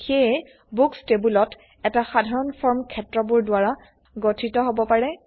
সেয়ে বুক্স টেবোলত এটা সাধাৰণ ফৰ্ম ক্ষেত্ৰবোৰ দ্বাৰা গঠিত হব পাৰে